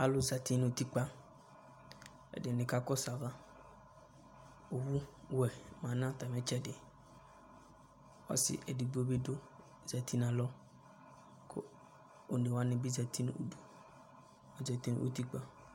Alʋ zati n'utikpa , ɛdɩnɩ ka kɔsʋ ava ; owuwɛ ma n'atamɩtsɛdɩ Ɔsɩ edigbo bɩ dʋ , ozati n'alɔ , kʋ onewanɩ bi zati n'udu : zati n'utikpa